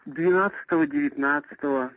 двенадцатого девятнадцатого